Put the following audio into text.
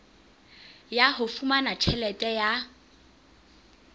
ya ho fumana tjhelete ya